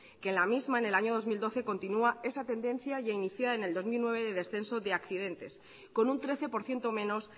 que en la misma en el año dos mil doce continúa esa tendencia y al iniciar en el dos mil nueve de descenso de accidentes con un trece por ciento menos